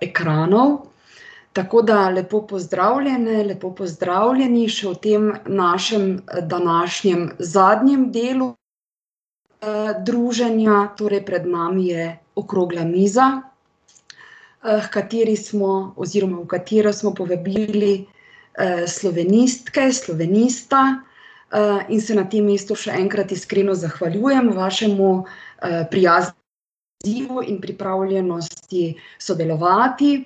ekranov, tako da lepo pozdravljene, lepo pozdravljeni še v tem našem današnjem zadnjem delu, druženja, torej pred nami je okrogla miza, h kateri smo oziroma v katero smo povabili slovenistke, slovenista, in se na tem mestu še enkrat iskreno zahvaljujem vašemu, in pripravljenosti sodelovati.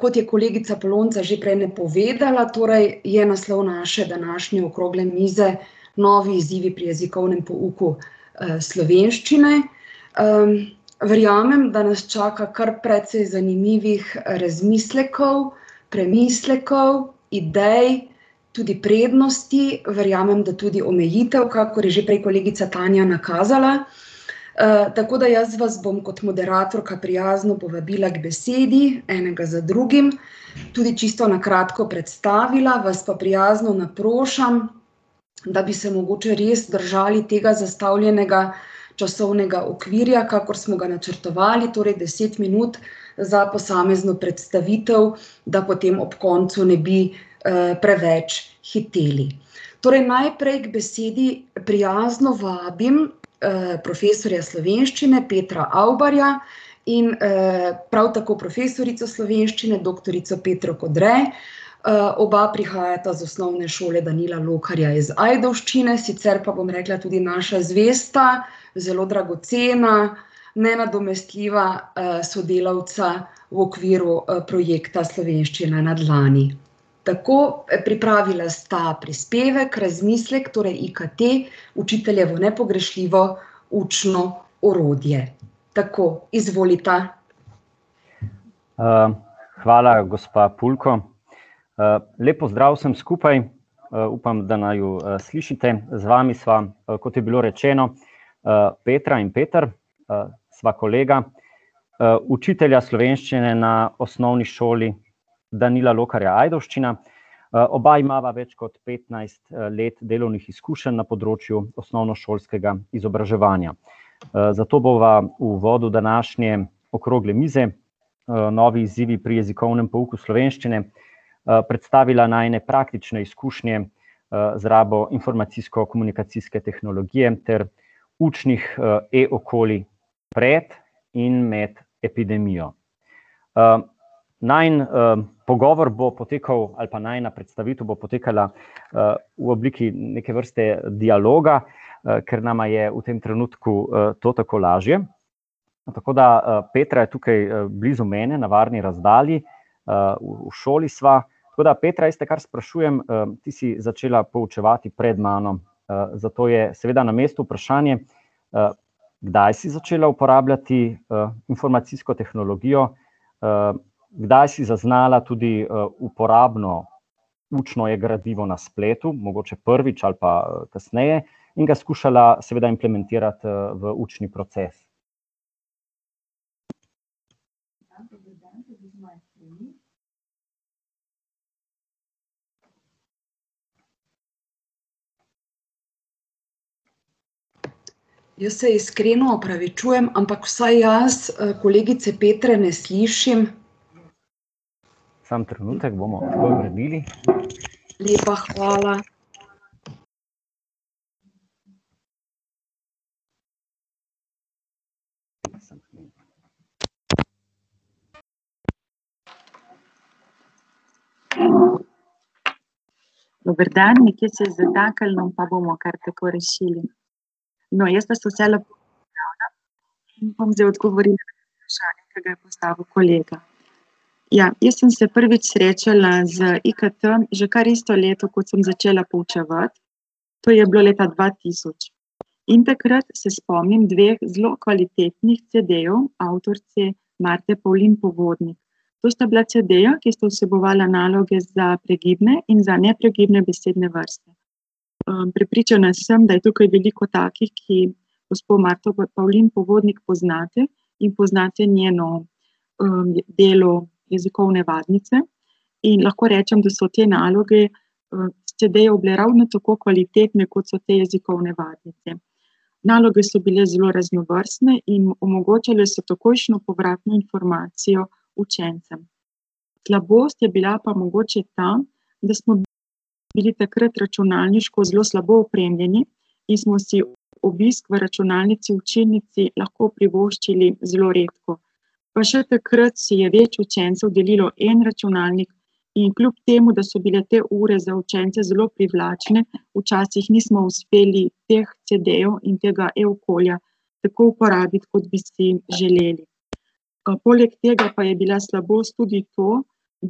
kot je kolegica Polonca že prejle povedala, torej je naslov naše današnje okrogle mize Novi izzivi pri jezikovnem pouku, slovenščine. verjamem, da nas čaka kar precej zanimivih razmislekov, premislekov, idej, tudi prednosti, verjamem, da tudi omejitev, kakor je že prej kolegica Tanja nakazala, tako da jaz vas bom kot moderatorka prijazno povabila k besedi, enega za drugim, tudi čisto na kratko predstavila, vas pa prijazno naprošam, da bi se mogoče res držali tega zastavljenega časovnega okvirja, kakor smo ga načrtovali, torej deset minut za posamezno predstavitev, da potem ob koncu ne bi, preveč hiteli. Torej najprej k besedi prijazno vabim, profesorja slovenščine, Petra Avbarja, in, prav tako profesorico slovenščine, doktorico Petro Kodre, oba prihajata z Osnovne šole Danila Lokarja iz Ajdovščine, sicer pa, bom rekla, tudi naša zvesta, zelo dragocena, nenadomestljiva, sodelavca v okviru, projekta Slovenščina na dlani. Tako, pripravila sta prispevek, razmislek, torej IKT, učiteljevo nepogrešljivo učno orodje. Tako, izvolita. hvala, gospa Pulko, lep pozdrav vsem skupaj, upam, da naju, slišite, z vami sva, kot je bilo rečeno, Petra in Peter. sva kolega, učitelja slovenščine na Osnovni šoli Danila Lokarja, Ajdovščina. oba imava več kot petnajst, let delovnih izkušenj na področju osnovnošolskega izobraževanja. zato bova v uvodu današnje okrogle mize, Novi izzivi pri jezikovnem pouku slovenščine, predstavila najine praktične izkušnje, z rabo informacijsko-komunikacijske tehnologije ter učnih, e-okolij pred in med epidemijo. najin, pogovor bo potekov, ali pa najina predstavitev bo potekala, v obliki neke vrste dialoga, ker nama je v tem trenutku, to tako lažje. Tako da, Petra je tukaj, blizu mene na varni razdalji, v šoli sva, tako da, Petra, jaz te kar sprašujem, ti si začela poučevati pred mano, zato je seveda na mestu vprašanje, kdaj si začela uporabljati, informacijsko tehnologijo, kdaj si zaznala tudi, uporabno učno e-gradivo na spletu, mogoče prvič ali pa kasneje, in ga skušala seveda implementirati, v učni proces? Jaz se iskreno opravičujem, ampak vsaj jaz, kolegice Petre ne slišim. Samo trenutek, bomo uredili. Lepa hvala. Dober dan, nekje se je zataknilo, pa bomo kar tako rešili. Za ta uvod. No, jaz vas vse in bom zdaj odgovorila na vprašanje, ki ga je postavil kolega. Ja, jaz sem se prvič srečala z IKT že kar isto leto, kot sem začela poučevati. To je bilo leta dva tisoč. In takrat se spomnim dveh zelo kvalitetnih zadev avtorice Marte Pavlin Povodnik. To sta bila CD-ja, ki sta vsebovala naloge za pregibne in za nepregibne besedne vrste. prepričana sem, da je tukaj veliko takih, ki gospo Marto Pavlin Povodnik poznate in poznate njeno, delo, jezikovne vadnice. In lahko rečem, da so te naloge, s CD-jev bile ravno tako kvalitetne, kot so te jezikovne vadnice. Naloge so bile zelo raznovrstne in omogočale so takojšnjo povratno informacijo učencem. Slabost je bila pa mogoče ta, da smo bili takrat računalniško zelo slabo opremljeni in smo si obisk v računalniški učilnici lahko privoščili zelo redko. Pa še takrat si je več učencev delilo en računalnik in kljub temu, da so bile te ure za učence zelo privlačne, včasih nismo uspeli teh CD-jev in tega e-okolja tako uporabiti, kot bi si želeli. poleg tega pa je bila slabost tudi to,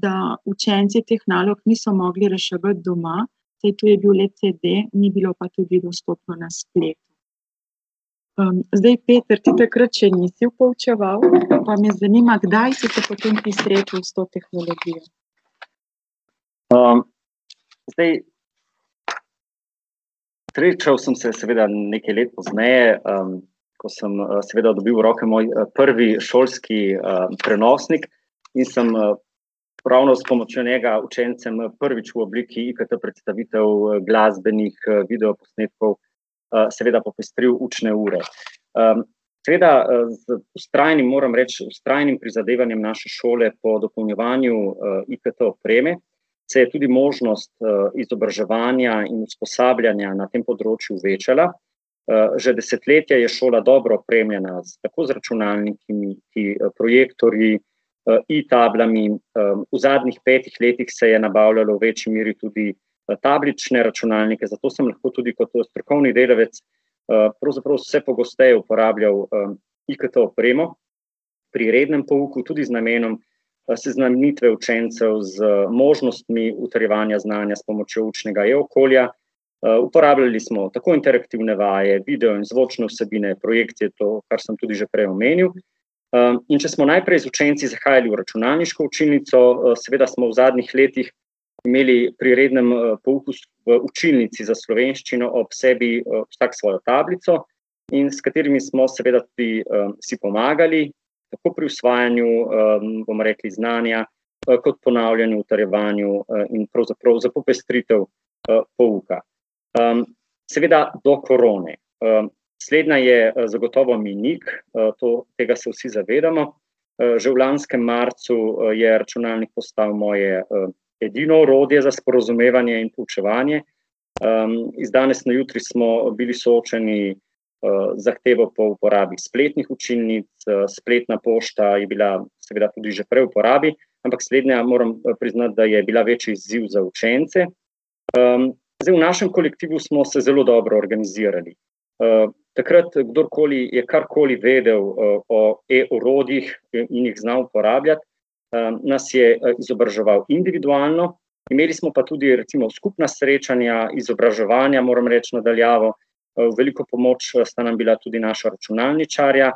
da učenci teh nalog niso mogli reševati doma, saj to je bil le CD, ni bilo pa tudi dostopa na splet. zdaj, Peter, ti takrat še nisi poučeval, pa me zanima, kdaj si pa potem postregel s to tehnologijo? zdaj, srečal sem se seveda nekaj let pozneje, ko sem, seveda dobil v roke, moj prvi šolski, prenosnik in sem, ravno s pomočjo njega učencem prvič v obliki IKT-predstavitev, glasbenih videoposnetkov, seveda popestrili učne ure. seveda, z vztrajnim, moram reči, vztrajnim prizadevanjem naše šole po dopolnjevanju, IKT-opreme se je tudi možnost, izobraževanja in usposabljanja na tem področju večala. že desetletja je šola dobro opremljena tako z računalniki, ki, projektorji, i-tablami, v zadnjih petih letih se je nabavljalo v večji meri tudi, tablične računalnike, zato sem lahko tudi kakor strokovni delavec pravzaprav vse pogosteje uporabljal, IKT-opremo pri rednem pouku, tudi z namenom, seznanitve učencev z možnostmi utrjevanja znanja s pomočjo učnega e-okolja, uporabljali smo tako interaktivne vaje, video in zvočne vsebine, projekcije, to, kar sem tudi že prej omenil. in če smo najprej z učenci zahajali v računalniško učilnico, seveda smo v zadnjih letih imeli pri rednem, pouku v v učilnici za slovenščino, ob sebi, vsak svojo tablico, in s katerimi smo seveda tudi, si pomagali tako pri osvajanju, bomo rekli, znanja, kot ponavljanju, utrjevanju, in pravzaprav za popestritev, pouka. seveda do korone, slednja je, zagotovo mejnik, to, tega se vsi zavedamo, že v lanskem marcu, je računalnik postal moje, edino orodje za sporazumevanje in poučevanje. iz danes na jutri smo bili soočeni, z zahtevo po uporabi spletnih učilnic, spletna pošta je bila seveda tudi že prej v uporabi, ampak slednja, moram pa priznati, da je bila večji izziv za učence, zdaj v našem kolektivu smo se zelo dobro zorganizirali. takrat kdorkoli je karkoli vedeli o, o teh orodjih in jih znal uporabljati, nas je, izobraževal individualno, imeli smo pa tudi recimo skupna srečanja, izobraževanja, moram reči, na daljavo, v veliko pomoč, sta nam bila tudi naša računalničarja,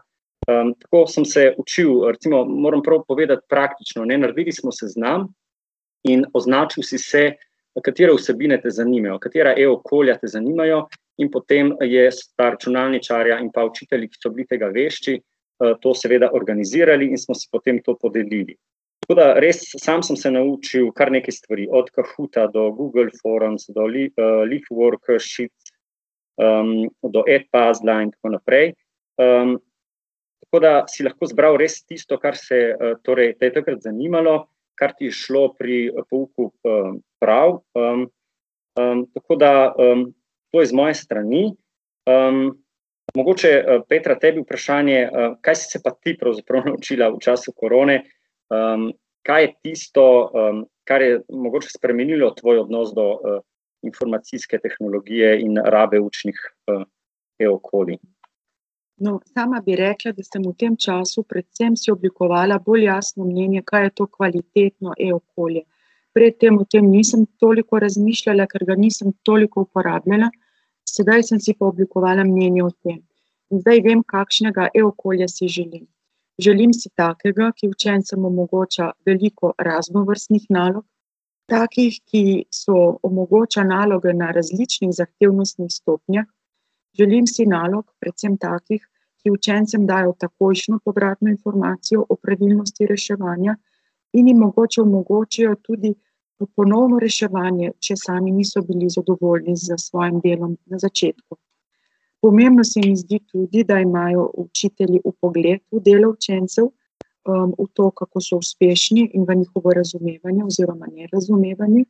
tako sem se učil, recimo moram prav povedati praktično, ne, naredili smo seznam in označil si se, katere vsebine te zanimajo, katera e-okolja te zanimajo, in potem je, sta računalničarja in pa učitelji, ki so bili tega vešči, to seveda organizirali in smo si potem to podelili. Tako da res, samo sem se naučil kar nekaj stvari, od Cahoota do Google Forms, do Live Workersheet, do in tako naprej. tako da si lahko izbral res tisto, kar se je, torej, te je takrat zanimalo, kar ti je šlo pri pouku, prav, tako da, to je z moje strani, mogoče, Petra, tebi vprašanje, kaj si se pa ti pravzaprav naučila v času korone, kaj je tisto, kar je mogoče spremenilo tvoj odnos do, informacijske tehnologije in rabe učnih, e-okolij? No, sama bi rekla, da sem v tem času predvsem si oblikovala bolj jasno mnenje, kaj je to kvalitetno e-okolje. Pred tem o tem nisem toliko razmišljala, kar ga nisem toliko uporabljala, sedaj sem si pa oblikovala mnenje o tem. Zdaj vem, kakšnega e-okolja si želim. Želim si takega, ki učencem omogoča veliko raznovrstnih nalog, takih, ki so, omogoča naloge na različnih zahtevnostnih stopnjah, želim si nalog, predvsem takih, ki učencem dajo takojšnjo povratno informacijo o pravilnosti reševanja in jim mogoče omogočijo tudi ponovno reševanje, če sami niso bili zadovoljni s svojim delom na začetku. Pomembno se mi zdi tudi, da imajo učitelji vpogled v delo učencev, v to, kako so uspešni, in v njihovo razumevanje oziroma nerazumevanje.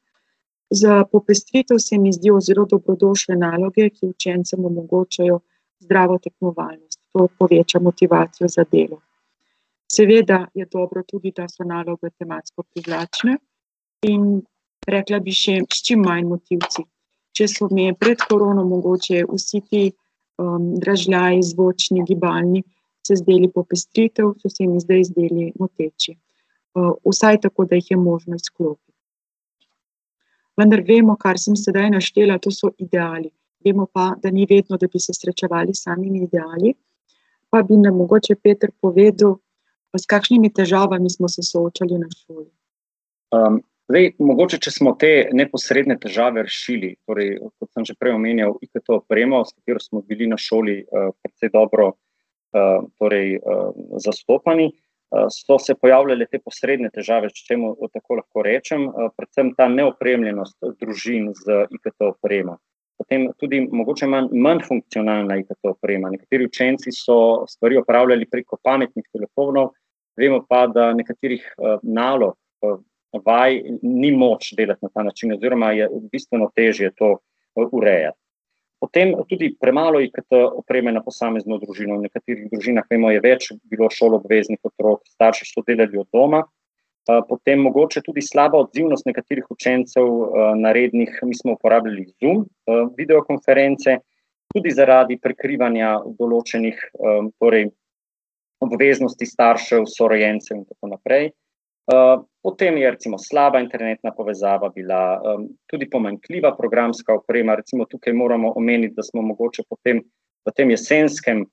Za popestritev se mi zdijo zelo dobrodošle naloge, ki učencem omogočajo zdravo tekmovalnost, to poveča motivacijo za delo. Seveda je dobro tudi, da so naloge tematsko privlačne, in rekla bi še, s čim manj motilci. Če so mi pred korono mogoče vsi ti, dražljaji zvočni, gibalni se zdeli popestritev, so se mi zdaj zdeli moteči. vsaj tako, da jih je možno izklopiti. Vendar vemo, kar sem sedaj naštela, to so ideali. Vemo pa, da ni vedno, da bi se srečevali s samimi ideali, pa bi nam mogoče, Peter, povedal, s kakšnimi težavami smo se soočali učitelji. zdaj, mogoče če smo te neposredne težave rešili, torej kot sem že prej omenjal, IKT-opremo, s katero smo bili na šoli, precej dobro, torej, zastopani, so se pojavljale te posredne težave, če temu, to lahko rečem, predvsem ta neopremljenost družin z IKT-opremo. Potem tudi mogoče malo manj funkcionalna IKT-oprema, nekateri učenci so stvari opravljali preko pametnih telefonov, vemo pa, da nekaterih, nalog, vaj ni moč delati na ta način oziroma je bistveno težje to, urejati. Potem tudi premalo IKT-opreme na posamezno družino, v nekaterih družinah, vemo, je več bilo šoloobveznih otrok, starši so delali od doma. potem mogoče tudi slaba odzivnost nekaterih učencev, na rednih, mi smo uporabljali Zoom videokonference, tudi zaradi prekrivanja določenih, torej obveznosti staršev, sorojencev in tako naprej. potem je recimo slaba interneta povezava bila, tudi pomanjkljiva programska oprema, recimo tukaj moramo omeniti, da smo mogoče potem v tem jesenskem,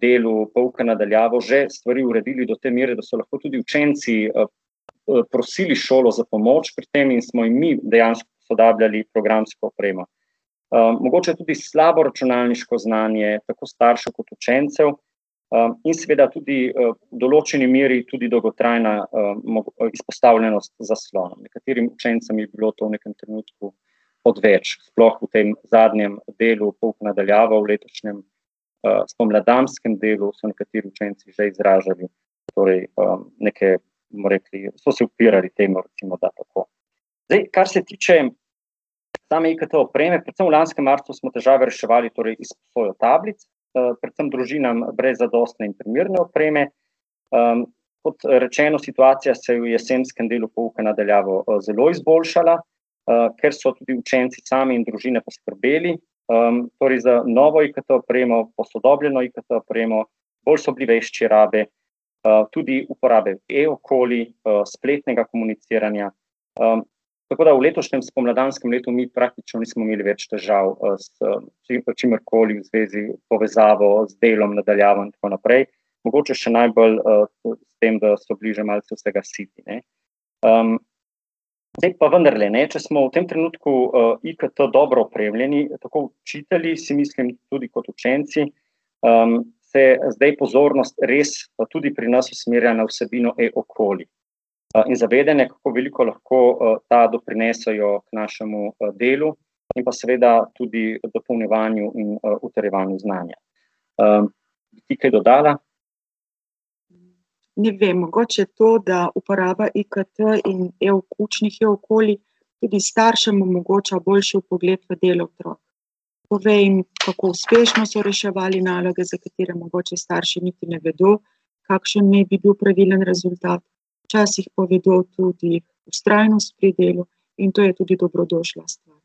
delu pouka na daljavo že stvari uredili do te mere, da so lahko tudi učenci, prosili šolo za pomoč pri tem in smo jim mi dejansko posodabljali programsko opremo. mogoče tudi slabo računalniško znanje, tako staršev kot učencev, in seveda tudi, v določeni meri tudi dolgotrajno, izpostavljenost zaslonom, nekaterim učencem je bilo to v nekem trenutku odveč, sploh v tem zadnjem delu pouka na daljavo v letošnjem, spomladanskem delu so nekateri učenci zdaj že izražali, torej, neke, bomo rekli, so se odpirale teme . Zdaj, kar se tiče same IKT-opreme, predvsem v lanskem marcu smo reševali torej iz, tablic, predvsem družinam brez zadostne in primerne opreme. kot rečeno, situacija se je v jesenskem delu pouka na daljavo, zelo izboljšala, ker so tudi učenci sami in družine poskrbeli, torej za novo IKT-opremo, posodobljeno IKT-opremo, bolj so bili vešči rabe, tudi uporabe e-okolij, spletnega komuniciranja. tako da v letošnjem spomladanskem letu mi praktično nismo imeli več težav, s pri, čemerkoli v zvezi s povezavo z delom na daljavo in tako naprej. Mogoče še najbolj, pri tem, da so bili že malce vsega siti, ne. zdaj pa vendarle, ne, če smo v tem trenutku, IKT dobro opremljeni, tako učitelji, si mislim, kot tudi učenci, se zdaj pozornost res, pa tudi pri nas usmerja na vsebino e-okolij. in zavedanje, kako veliko lahko, ta doprinesejo našemu, delu in pa seveda tudi dopolnjevanju in, utrjevanju znanja. bi ti kaj dodala? Ne vem, mogoče to, da uporaba IKT- in e-o() učnih e-okolij tudi staršem omogoča boljši vpogled v delo otrok. Pove jim, kako uspešno so reševali naloge, za katere mogoče starši niti ne vedo, kakšen naj bi bil pravilen rezultat, včasih povedo tudi vztrajnost pri delu, in to je tudi dobrodošla stvar.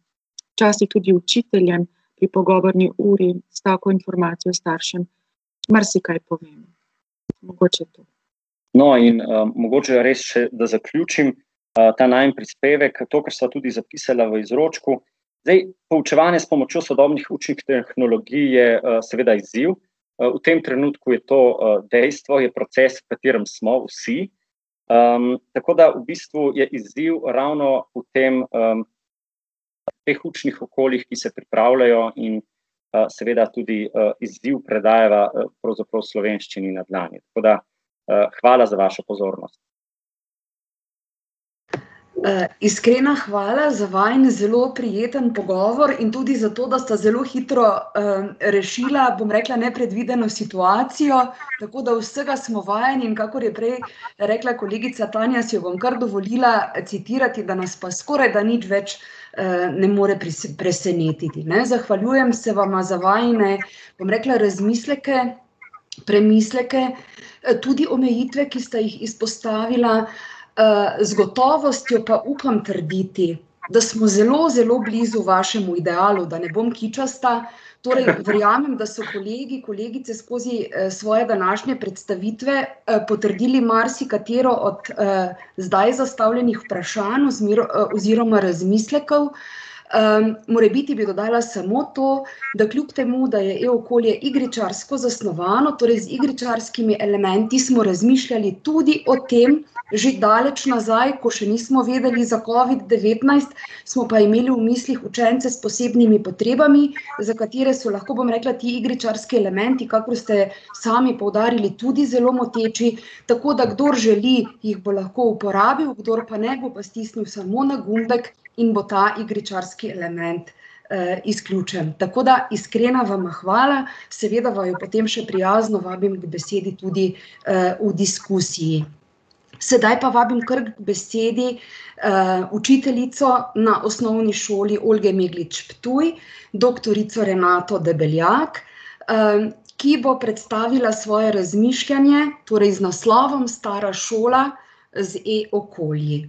Včasih tudi učiteljem pri pogovorni uri s tako informacijo staršem marsikaj pove. Mogoče to. No, in, mogoče je res še, da zaključim, ,ta najin prispevek, to, kar sva tudi zapisala v izročku, zdaj, poučevanje s pomočjo sodobnih učnih tehnologij je, seveda izziv, v tem trenutku je to, dejstvo, je proces, v katerem smo vsi. tako da v bistvu je izziv ravno v tem, teh učnih okoljih, ki se pripravljajo, in da seveda tudi izziv predajava pravzaprav Slovenščini na dlani, tako da, hvala za vašo pozornost. iskrena hvala za vajin zelo prijetno pogovor in tudi za to, da sta zelo hitro, rešila, bom rekla, nepredvideno situacijo, tako da vsega smo vajeni, in kakor je prej rekla kolegica Tanja, si jo bom kar dovolila, citirati, da nas pa skorajda nič več, ne more presenetiti, ne, zahvaljujem se vama za vajine, bom rekla, razmisleke, premisleke, tudi omejitve, ki sta jih izpostavila. z gotovostjo pa upam trditi, da smo zelo zelo blizu vašemu idealu, da ne bom kičasta, torej, verjamem, da so kolegi, kolegice skozi, svoje današnje predstavitve, potrdili marsikatero od, zdaj zastavljenih vprašanj oziroma razmislekov. morebiti bi dodala samo to, da kljub temu, da je e-okolje igričarsko zasnovano, torej z igričarskimi elementi, smo razmišljali tudi o tem že daleč nazaj, ko še nismo vedeli za covid-devetnajst, smo pa imeli v mislih učence s posebnimi potrebami, za katere so lahko, bom rekla, ti igričarski elementi, kakor ste sami poudarili, tudi zelo moteči, tako da kdor želi, jih bo lahko uporabil, kdor pa ne, bo pa stisnil samo na gumbek in bo ta igričarski element, izključen. Tako da iskrena vama hvala, seveda vaju potem še prijazno vabim k besedi tudi, v diskusiji. Sedaj pa vabim kar k besedi, učiteljico na Osnovni šoli Olge Meglič, Ptuj, doktorico Renato Debeljak, ki bo predstavila svoje razmišljanje, torej z naslovom Stara šola z e-okolji.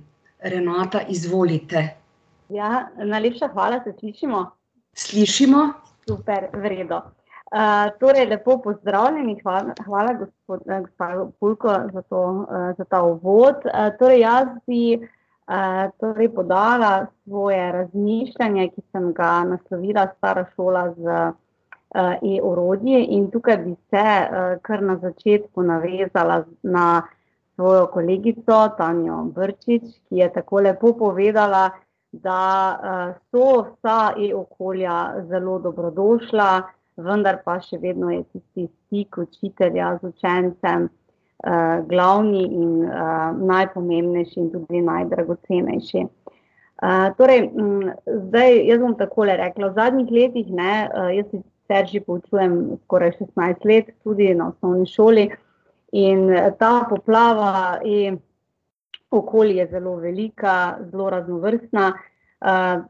Renata, izvolite. Ja, najlepša hvala, se slišimo? Slišimo. Super, v redu. torej lepo pozdravljeni, hvala za , gospa Pulko, za to, za ta uvod, torej jaz bi, torej dodala svoje razmišljanje, ki sem ga naslovila Stara šola z, e-orodji, in tukaj bi se, kar na začetku navezala na, svojo kolegico, Tanjo Brčič, ki je tako lepo povedala, da, so vsa e-okolja zelo dobrodošla, vendar pa še vedno je tisti stik učitelja z učencem, glavni in, najpomembnejši in tudi najdragocenejši. torej zdaj, jaz bom takole rekla, v zadnjih letih, ne, jaz sicer že poučujem skoraj šestnajst let tudi na osnovni šoli, in ta poplava e-okolij je zelo velika, zelo raznovrstna,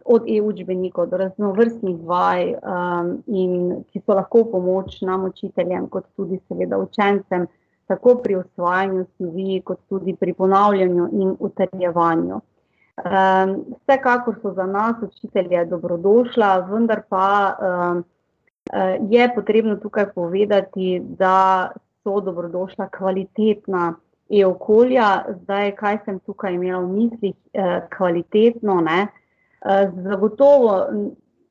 od e-učbenikov do raznovrstnih vaj, in, ki so lahko v pomoč nam učiteljem kot tudi seveda učencem, tako pri osvajanju snovi kot tudi pri ponavljanju in utrjevanju. vsekakor so za nas učitelje dobrodošla, vendar pa, je potrebno tukaj povedati, da so dobrodošla kvalitetna e-okolja, zdaj, kaj sem tukaj imela v mislih, kvalitetno, ne, zagotovo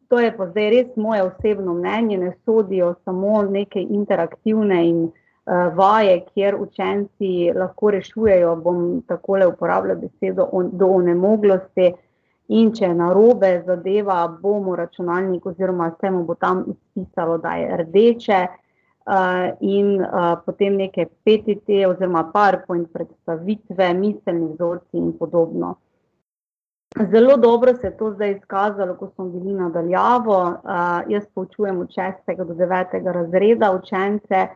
to je pa zdaj res moje osebno mnenje, ne sodijo samo neke interaktivne in, vaje, kjer učenci lahko rešujejo, bom takole uporabila besedo, do onemoglosti, in če je narobe zadeva, bo mu računalnik oziroma se mu bo tam izpisalo, da je rdeče. in, potem neke ppt oziroma powerpoint predstavitve, miselni vzorci in podobno. Zelo dobro se je to zdaj izkazalo, ko smo bili na daljavo, jaz poučujem od šestega do devetega razreda učence,